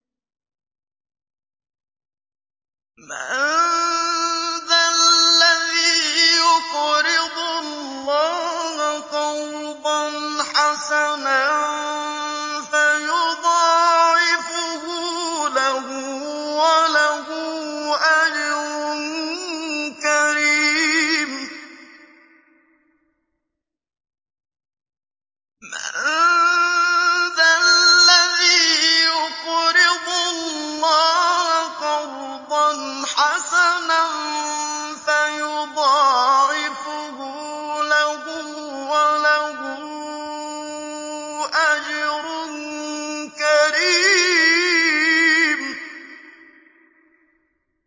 مَّن ذَا الَّذِي يُقْرِضُ اللَّهَ قَرْضًا حَسَنًا فَيُضَاعِفَهُ لَهُ وَلَهُ أَجْرٌ كَرِيمٌ